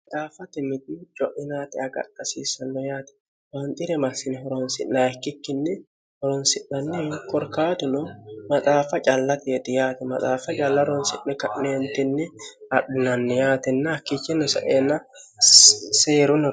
maxaaffati mitini co'inaati agarxasiissanno yaati baanxire marsini horonsi'na ikkikkinni horonsi'nanni ikorkaatuno maxaaffa callateeti yaate maxaaffa calla ronsi'ne ka'neentinni adhunanni yaatinni hakkichinni saeenna seerunnono